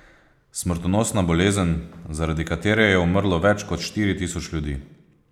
Smrtonosna bolezen, zaradi katere je umrlo več kot štiri tisoč ljudi.